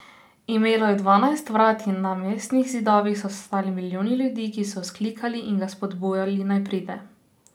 Imelo je dvanajst vrat in na mestnih zidovih so stali milijoni ljudi, ki so vzklikali in ga spodbujali, naj pride.